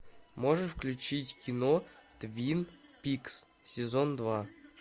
можешь включить кино твин пикс сезон два